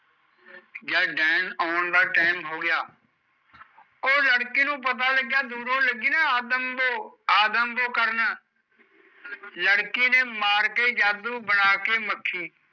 ਜਦ ਡੈਣ ਆਉਣ ਦਾ ਟੈਮ ਹੋਗਿਆ ਉਹ ਲੜਕੀ ਨੂ ਪਤਾ ਲੱਗਿਆ ਜਦੋਂ ਓਹ ਲੱਗੀ ਨਾ ਆਦਮਬੋ ਆਦਮਬੋ ਕਰਨ, ਲੜਕੀ ਨੇ ਮਾਰ ਕੇ ਜਾਦੂ ਬਣਾ ਕੇ ਮੱਖੀ